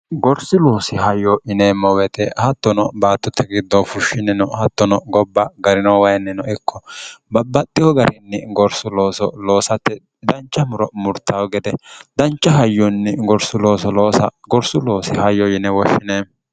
gorsu loosi hayyo yineemmo weete hattono baattutte giddoo fushshinnino hattono gobba garino wayinni no ikko babbaxxiho garinni gorsu looso loosatte dancha muro murtaho gede dancha hayyunni gorulooooos gorsu loosi hayyo yine woshshine